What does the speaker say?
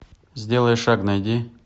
сделай шаг найди